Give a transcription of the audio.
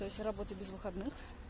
то есть я работаю без выходных